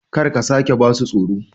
Kar ka sake ba su tsoro!